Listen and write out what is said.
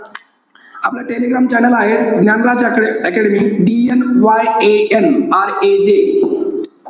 आपलं Telegram channel आहे. Dnyanraj Academy. DNYANRAJ.